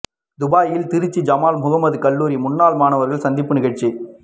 துபாயில் திருச்சி ஜமால் முஹம்மது கல்லூரி முன்னாள் மாணவர்கள் சந்திப்பு நிகழ்ச்சி்